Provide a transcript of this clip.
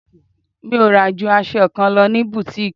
Mi ò rà ju aṣọ kan lọ ní butiiki.